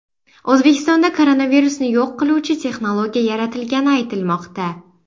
O‘zbekistonda koronavirusni yo‘q qiluvchi texnologiya yaratilgani aytilmoqda.